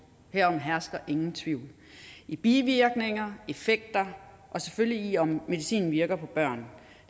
herom hersker ingen tvivl i bivirkninger i effekter og selvfølgelig i om medicinen virker på børn